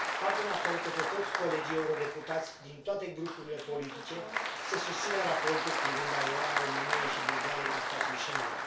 Fac un apel către toți colegii eurodeputați din toate grupurile politice să susțină raportul privind aderarea României și Bulgariei la spațiul Schengen.